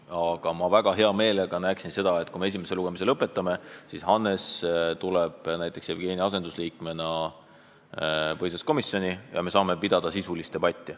Aga ma väga hea meelega näeksin seda, et kui me esimese lugemise lõpetame, siis Hannes tuleb näiteks Jevgeni asendusliikmena põhiseaduskomisjoni ja me saame pidada sisulist debatti.